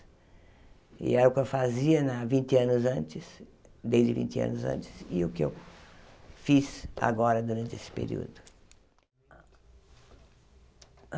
E era o que eu fazia na vinte anos antes, desde vinte anos antes, e o que eu fiz agora durante esse período.